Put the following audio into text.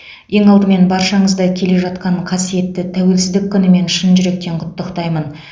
ең алдымен баршаңызды келе жатқан қасиетті тәуелсіздік күнімен шын жүректен құттықтаймын